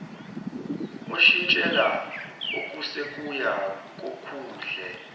oshintshela okusikuya kokuhle